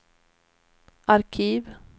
arkiv